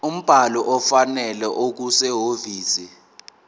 umbhalo ofanele okusehhovisi